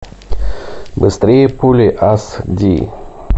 быстрее пули ас ди